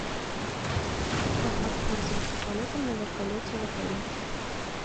как воспользоваться полетом на вертолете в отеле